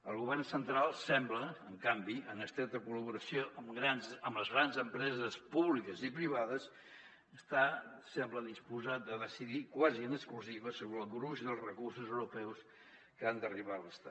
el govern central sembla en canvi en estreta col·laboració amb les grans empreses públiques i privades està sembla disposat a decidir quasi en exclusiva sobre el gruix dels recursos europeus que han d’arribar a l’estat